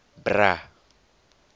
bra